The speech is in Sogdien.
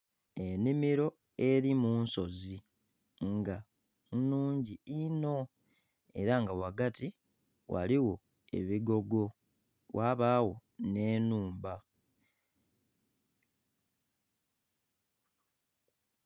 Enhimiro eri munsozi nga nnhungi inho era nga wagati waliwo ebigogo wabawo ne nhumba